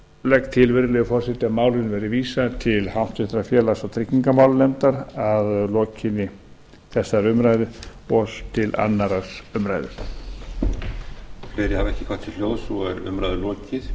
legg til virðulegi forseti að málinu verði vísað til háttvirtrar félags og tryggingamálanefndar að lokinni þessari umræðu og til annarrar umræðu